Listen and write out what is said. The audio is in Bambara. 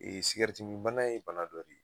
min bana ye bana dɔ de ye